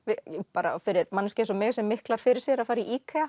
bara fyrir manneskju eins og mig sem miklar fyrir sér að fara í